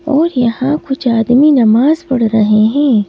और यहाँ कुछ आदमी नमाज पढ़ रहे हैं ।